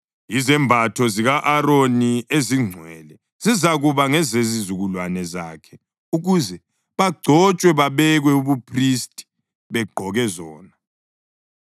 Izembatho zika-Aroni ezingcwele zizakuba ngezezizukulwana zakhe ukuze bagcotshwe babekwe ubuphristi begqoke zona.